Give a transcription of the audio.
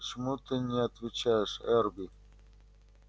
почему ты не отвечаешь эрби